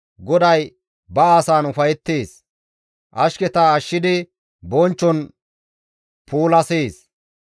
GODAY ba asan ufayettees; ashketa ashshidi bonchchon puulasees.